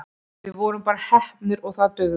Við vorum bara heppnir og það dugði.